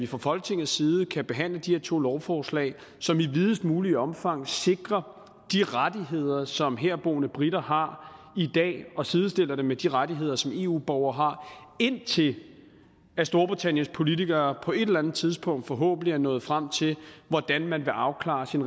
fra folketingets side kan behandle de her to lovforslag som i videst muligt omfang sikrer de rettigheder som herboende briter har i dag og sidestiller dem med de rettigheder som eu borgere har indtil storbritanniens politikere på et eller andet tidspunkt forhåbentlig er nået frem til hvordan man vil afklare sin